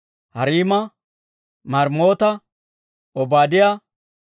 Hariima, Maremoota, Obaadiyaa,